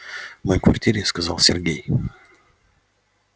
в моей квартире сказал сергей